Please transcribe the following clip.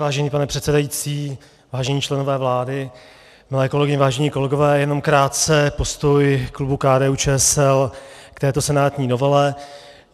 Vážený pane předsedající, vážení členové vlády, milé kolegyně, vážení kolegové, jenom krátce postoj klubu KDU-ČSL k této senátní novele.